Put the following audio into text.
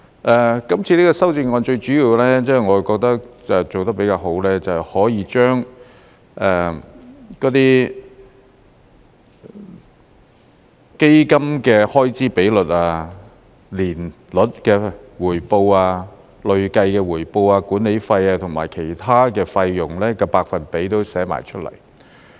我覺得這項修正案做得比較好的是，可以將那些基金的開支比率、年率的回報、累計的回報、管理費和其他費用的百分比都列出來。